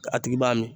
A tigi b'a min